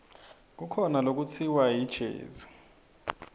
kukhona lekutsiwa yijezi